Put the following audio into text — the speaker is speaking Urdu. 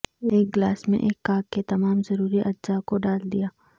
ایک گلاس میں ایک کاک کے تمام ضروری اجزاء کو ڈال دیا